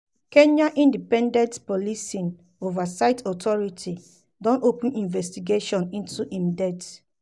kenya independent policing oversight authority (ipoa) don open investigation into im death